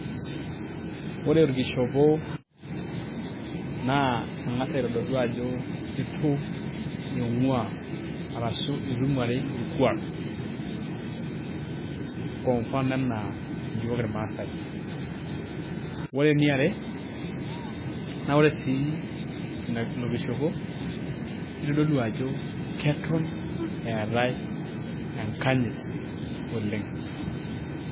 ore orkishopo, naa engas aitodolu ajo eitu inguaa, ashu eitu ing'uari orkuaak. kwa mfano anaa iyiook irmaasae, ore eniare, naa ore sii ilo kishopo, nitodolu ajo keton eetae enkanyit oleng'.